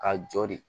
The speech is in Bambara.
Ka jɔ de